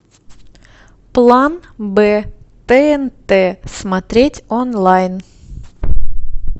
план б тнт смотреть онлайн